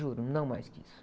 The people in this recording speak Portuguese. Juro, não mais que isso.